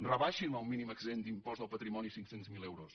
rebaixin el mínim exempt d’impost del patrimoni a cinc cents miler euros